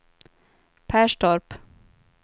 Perstorp